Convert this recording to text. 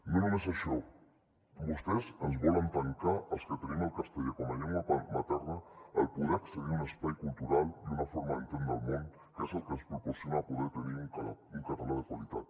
no només això vostès ens volen tancar als que tenim el castellà com a llengua materna poder accedir a un espai cultural i una forma d’entendre el món que és el que ens proporciona poder tenir un català de qualitat